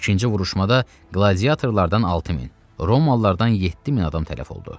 İkinci vuruşmada qladiatorlardan 6000, Romalılardan 7000 adam tələf oldu.